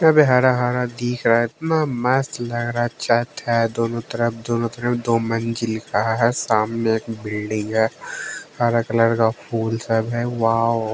अबे हरा हरा दिख रहा है इतना मस्त लग रहा है चट है दोनों तरफ दोनों तरफ दो मंजिल का है सामने एक बिल्डिंग है हरा कलर का फूल सब है वाओ।